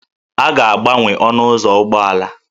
A ga-agbanwe ọnụ ụzọ ụgbọala